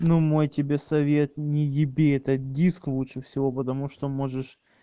но мой тебе совет не еби этот диск лучше всего потому что можешь